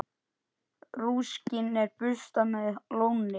Rúskinn er burstað með lónni.